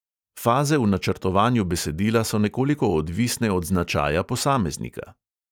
Faze v načrtovanju besedila so nekoliko odvisne od značaja posameznika.